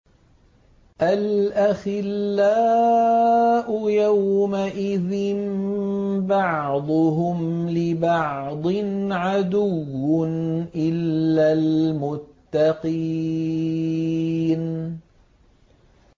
الْأَخِلَّاءُ يَوْمَئِذٍ بَعْضُهُمْ لِبَعْضٍ عَدُوٌّ إِلَّا الْمُتَّقِينَ